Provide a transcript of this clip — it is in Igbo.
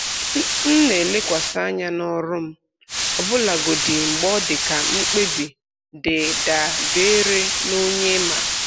M na-elekwasị anya n'ọrụ m ọbụlagodi mgbe odika mkpebi dị da beere na onye ima.